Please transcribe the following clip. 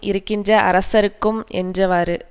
இருக்கின்ற அரசர்க்கும் என்றவாறு